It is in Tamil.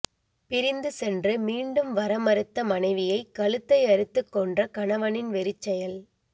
பிரிந்து சென்று மீண்டும் வர மறுத்த மனைவியை கழுத்தை அறுத்து கொன்ற கணவனின் வெறிச்செயல்